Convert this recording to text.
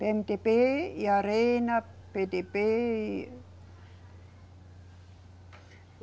PêeMeDêBê e Arena, PêDêBê e.